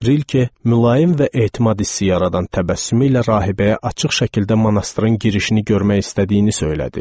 Rilke mülayim və etimad hissi yaradan təbəssümü ilə rahibəyə açıq şəkildə monastırın girişini görmək istədiyini söylədi.